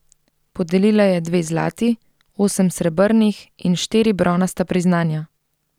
Podelila je dve zlati, osem srebrnih in štiri bronasta priznanja.